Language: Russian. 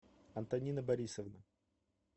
антонина борисовна